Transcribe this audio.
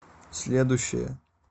следующая